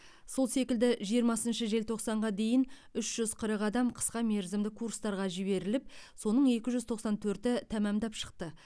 сол секілді жиырмасыншы желтоқсанға дейін үш жүз қырық адам қысқа мерзімді курстарға жіберіліп соның екі жүз тоқсан төрті тәмамдап шықты